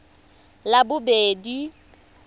labobedi